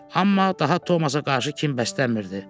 Amma daha Tomasa qarşı kin bəsləmirdi.